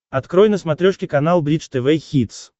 открой на смотрешке канал бридж тв хитс